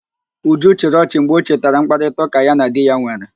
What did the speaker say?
Uju chịrị ọchị mgbe ọ chetara mkparịtaụ́ká ya na di ya nwere